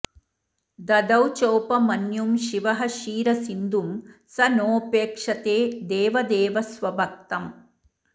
ददौ चोपमन्युं शिवः क्षीरसिन्धुं स नोपेक्षते देवदेवः स्वभक्तम्